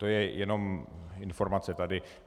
To je jen informace tady.